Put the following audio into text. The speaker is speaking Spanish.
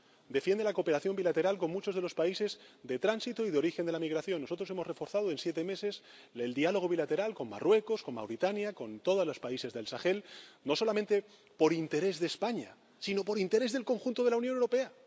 Defiende la cooperación bilateral con muchos de los países de tránsito y de origen de la migración. Nosotros hemos reforzado en siete meses el diálogo bilateral con Marruecos, con Mauritania, con todos los países del Sahel, no solamente por interés de España, sino por interés del conjunto de la Unión Europea.